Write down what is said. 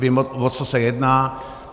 Vím, o co se jedná.